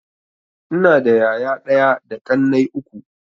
Ina da yaya ɗaya da ƙannai uku.